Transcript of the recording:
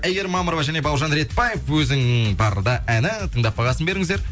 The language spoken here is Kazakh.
әйгерім мамырова және бауыржан ретбаев өзің барда әні тыңдап бағасын беріңіздер